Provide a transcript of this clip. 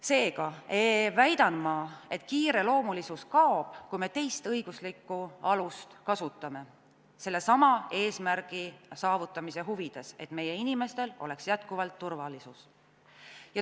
Seega väidan ma, et kiireloomulisus kaob, kui me kasutame teist õiguslikku alust sellesama eesmärgi saavutamise huvides, et meie inimestel oleks jätkuvalt turvalisus.